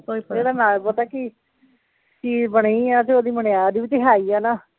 ਇਹਦਾ ਨਾਂ ਪਤਾ ਕੀ, ਕੀ ਬਣੀ ਆ ਤੇ ਉਹਦੀ ਮੁਨਿਆਦ ਵੀ ਤੇ ਹੈ ਈ ਆ ਨਾ